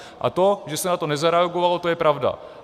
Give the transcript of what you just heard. A to, že se na to nezareagovalo, to je pravda.